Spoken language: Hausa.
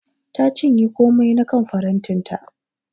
Ta cinye komai na kan farantin ta.